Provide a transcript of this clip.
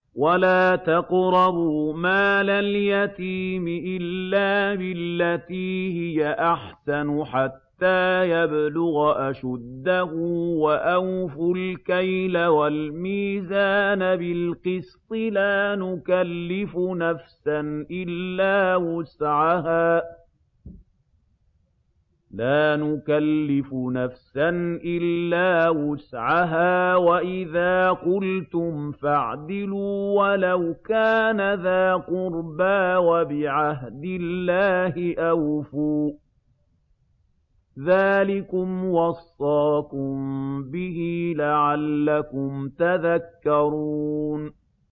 وَلَا تَقْرَبُوا مَالَ الْيَتِيمِ إِلَّا بِالَّتِي هِيَ أَحْسَنُ حَتَّىٰ يَبْلُغَ أَشُدَّهُ ۖ وَأَوْفُوا الْكَيْلَ وَالْمِيزَانَ بِالْقِسْطِ ۖ لَا نُكَلِّفُ نَفْسًا إِلَّا وُسْعَهَا ۖ وَإِذَا قُلْتُمْ فَاعْدِلُوا وَلَوْ كَانَ ذَا قُرْبَىٰ ۖ وَبِعَهْدِ اللَّهِ أَوْفُوا ۚ ذَٰلِكُمْ وَصَّاكُم بِهِ لَعَلَّكُمْ تَذَكَّرُونَ